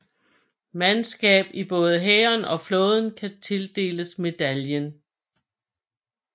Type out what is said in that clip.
Mandskab i både hæren og flåden kan tildeles medaljen